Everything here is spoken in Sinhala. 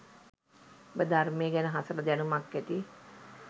ඔබ ධර්මය ගැන හසල දැනුමක් ඇති